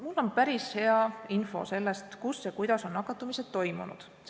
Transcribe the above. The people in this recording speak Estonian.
Mul on päris hea info selle kohta, kus ja kuidas on nakatumised toimunud.